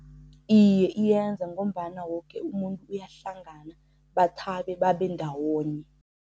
Iye, iyenza ngombana woke umuntu uyahlangana bathabe babe ndawonye.